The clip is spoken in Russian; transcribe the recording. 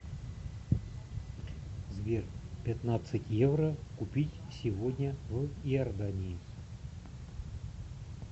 сбер пятнадцать евро купить сегодня в иордании